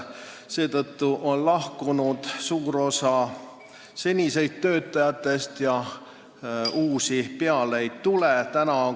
Seetõttu on lahkunud suur osa senistest töötajatest ja uusi peale ei tule.